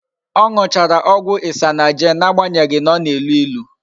O nuchara ogwu isanaje na-agbanyeghi na o na-elu ilu